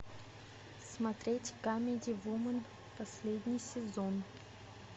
смотреть камеди вумен последний сезон